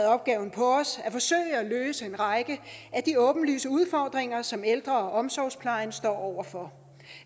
opgave på os at forsøge at løse en række af de åbenlyse udfordringer som ældre og omsorgsplejen står over for